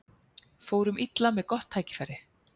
Fórum illa með gott tækifæri